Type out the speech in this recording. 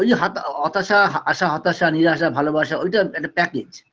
ঐযে হাতা হতাশা আশা হতাশা নিরাশা ভালোবাসা ঐটা একটা package